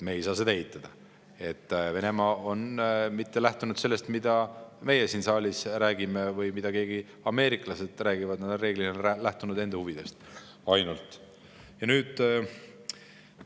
Me ei saa seda eitada, et Venemaa ei ole lähtunud mitte sellest, mida meie siin saalis räägime või mida ameeriklased räägivad, vaid on enamasti lähtunud ainult enda huvidest.